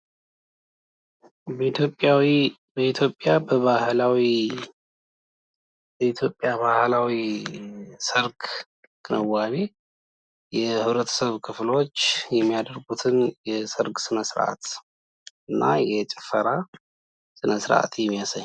በኢትዮጵያዊ፤ በኢትዮጵያ በባህላዊ፤ የኢትዮጵያ ባህላዊ ሰርግ ክንዋኔ የህብረተሰብ ክፍሎች የሚያደርጉትን የሰርግ ስነስርአት እና የጭፈራ ስነስርአት የሚያሳይ።